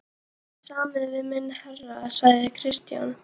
Hafið þið samið við minn herra, sagði Christian.